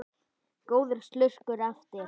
Góður slurkur eftir.